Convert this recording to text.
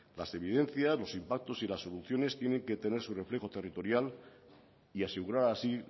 las evidencias los impactos y las soluciones tienen que tener su reflejo territorial y asegurar así